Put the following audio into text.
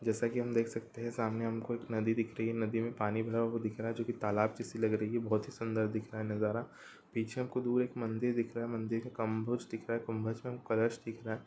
जैसा कि हम देख सकते हैं सामने हमको एक नदी दिख रही है नदी मे पानी भरा हुआ दिख रहा है जो कि तालाब जैसी लग रही हैबहुत ही सुन्दर दिख रहा है नज़ारा पीछे हमको दो एक मंदिर दिख रहा है मंदिर कम्भुज दिख रहा है कम्भुज में हमको कलश दिख रहा है।